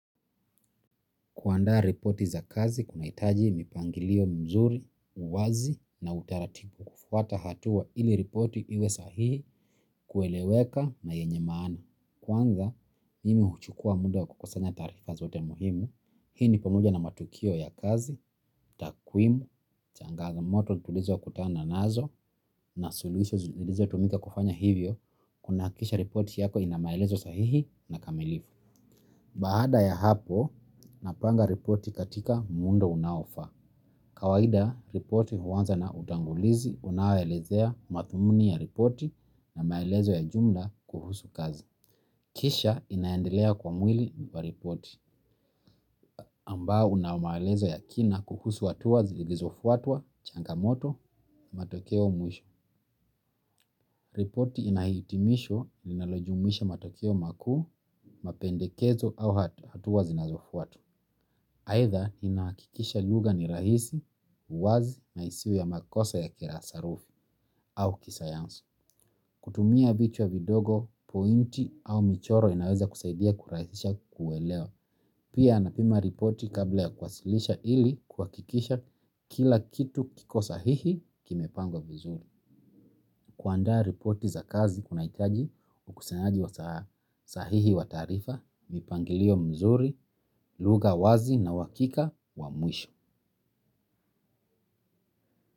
Kuandaa ripoti za kazi kunahitaji mipangilio mzuri, uwazi na utaratibu. Kufuata hatua ili ripoti iwe sahihi, kueleweka na yenye maana. Kwanza, mimi huchukua muda kukusanya taarifa zote muhimu. Hii ni pamoja na matukio ya kazi, takwimu, changamoto tulizo kutana nazo na suluhisho zilizotumika kufanya hivyo. Kunahakikisha ripoti yako ina maelezo sahihi na kamilifu. Baada ya hapo, napanga ripoti katika muundo unaofa. Kawaida, ripoti huanza na utangulizi unaoelezea madhumuni ya ripoti na maelezo ya jumla kuhusu kazi. Kisha inaendelea kwa mwili wa ripoti ambao una maelezo ya kina kuhusu hatua zilizofuatwa, changamoto, matokeo mwisho. Ripoti ina hitimisho linalojumuisha matokeo makuu, mapendekezo au hatua zinazofuata. Aitha inahakikisha lugha ni rahisi, wazi na isiwe ya makosa ya kila sarufi au kisayansi. Kutumia vichwa vidogo, pointi au michoro inaweza kusaidia kurahisisha kuelewa. Pia anapima ripoti kabla ya kuwasilisha ili kuhakikisha kila kitu kiko sahihi, kimepangwa mzuri. Kuandaa ripoti za kazi kunahitaji ukusanyaji wa sahihi wa taarifa, mipangilio mzuri, lugha wazi na uhakika wa mwisho.